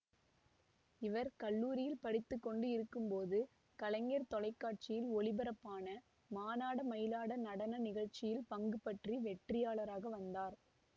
இவர் கல்லூரியில் படித்து கொண்டு இருக்கும் போது கலைஞர் தொலைக்காட்சியில் ஒளிபரப்பான மானாட மயிலாட நடன நிகழ்ச்சியில் பங்கு பற்றி வெற்றியாளராக வந்தார்